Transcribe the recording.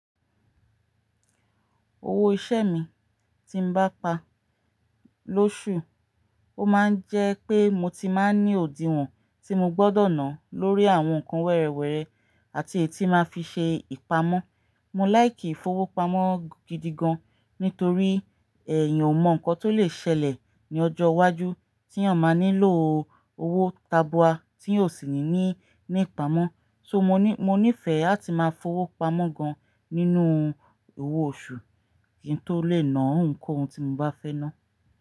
Owó iṣẹ́ mi tí n bá pa lóṣù, ó máa ń jẹ́ pé mo ti máa ń ní òdiwọ̀n tí mo gbọ́dọ̀ ná lórí àwọn nǹkan wẹ́rẹ́wẹ́rẹ́ àti èyí tí máa fi ṣe ìpamọ́. Mo láì kìí fowó pamọ́ gidi gan, nítorí ẹ̀yan ò mọ̀ nǹkan tó lè ṣẹlẹ̀ ní ọjọ́ iwájú tí èèyàn máa nílò owó tabua tí èèyàn o sì ní ní ìpamọ́. So mo ní ìfẹ́ áti máa fowó pamọ́ gan nínú owó oṣù kí n tó lè ná òhun koun tí mo bá fẹ́ ná.